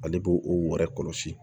Ale b'o o yɛrɛ kɔlɔsi